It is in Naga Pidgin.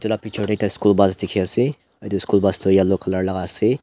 ekta school bus dikhiase aro edu school bus tu yellow colour laka ase.